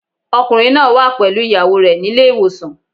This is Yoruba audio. Ọkùnrin náà wà pẹ̀lú ìyàwó rẹ̀ nílé ìwòsàn.